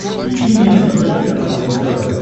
включи мне на смотрешке канал рубль тв